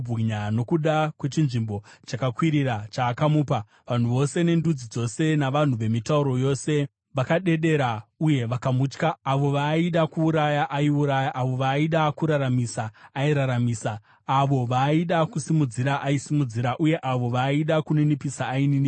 Nokuda kwechinzvimbo chakakwirira chaakamupa, vanhu vose nendudzi dzose navanhu vemitauro yose vakadedera uye vakamutya. Avo vaaida kuuraya, aiuraya, avo vaaida kuraramisa, airaramisa; avo vaaida kusimudzira, aisimudzira; uye avo vaaida kuninipisa, aininipisa.